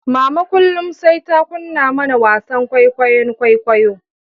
Mama kullum sai ta kunna mana wasan kwaikwayon kwaikwayo